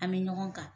An bɛ ɲɔgɔn ta